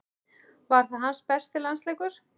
Var það hans besti landsleikur?